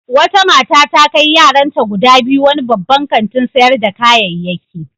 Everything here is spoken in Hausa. Wata mata ta kai yaranta guda biyu wani babban kantin sayar da kayayyaki.